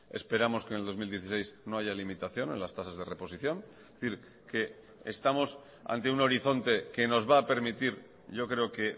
esperamos que en el dos mil dieciséis no haya limitación en las tasas de reposición es decir que estamos ante un horizonte que nos va a permitir yo creo que